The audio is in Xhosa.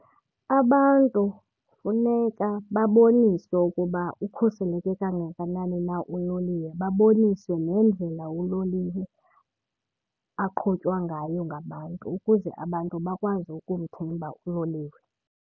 Abantu funeka baboniswe ukuba ukhuseleke kangakanani na uloliwe, baboniswe nendlela uloliwe aqhutywa ngayo ngabantu ukuze abantu bakwazi ukumthemba uloliwe.